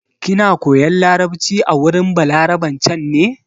Kina koyan larabci a wurin Balaraben can ne?